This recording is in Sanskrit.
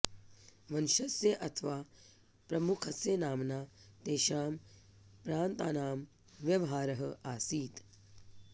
वंशस्य अथवा प्रमुखस्य नाम्ना तेषां प्रान्तानां व्यवहारः आसीत्